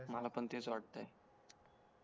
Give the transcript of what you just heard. मला पण तेच वाटाय